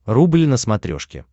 рубль на смотрешке